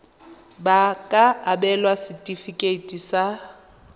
ba ka abelwa setefikeiti sa